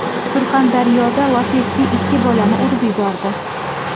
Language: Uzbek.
Surxondaryoda Lacetti ikki bolani urib yubordi.